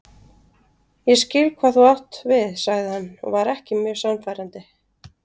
Ég skil hvað þú átt við sagði hann og var ekki mjög sannfærandi.